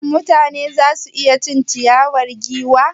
Shin mutane za su iya cin ciyawar giwa?